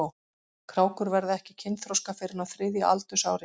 Krákur verða ekki kynþroska fyrr en á þriðja aldursári.